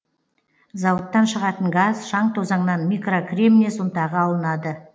зауыттан шығатын газ шаң тозаңнан микрокремнез ұнтағы алынады